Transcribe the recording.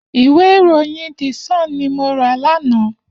Iwé iróyìn dísòn ni mó rà làná